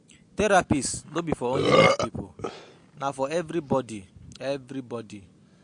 Therapist no be for only mad pipo na for everybody everybody